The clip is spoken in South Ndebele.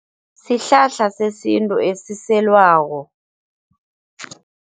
Sihlahla sesintu esiselwako.